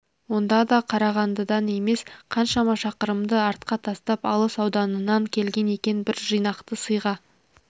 онда да қарағандыдан емес қаншама шақырымды артқа тастап алыс ауданынан келген екен бір жинақты сыйға